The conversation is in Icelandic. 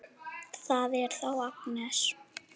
Það er þá Agnes!